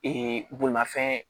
bolimafɛn